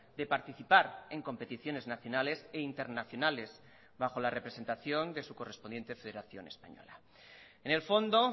de participar en competiciones nacionales e internacionales bajo la representación de su correspondiente federación española en el fondo